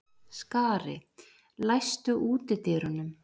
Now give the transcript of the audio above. Skari, læstu útidyrunum.